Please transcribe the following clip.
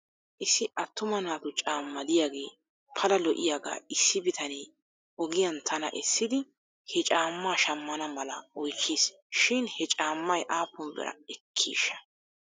Issi attuma naatu caama diyaagee pala lo'iyaagaa issi bitanee ogiyan tana essidi he caammaa shamana mala oychchis shin he caamay aappun bira ekkiishsha?